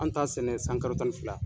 An t'a sɛnɛ san kalo tan ni fila.